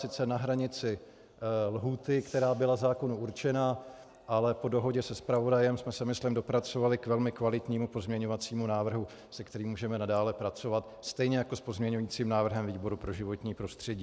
Sice na hranici lhůty, která byla zákonu určena, ale po dohodě se zpravodajem jsme se myslím dopracovali k velmi kvalitnímu pozměňovacímu návrhu, se kterým můžeme nadále pracovat, stejně jako s pozměňujícím návrhem výboru pro životní prostředí.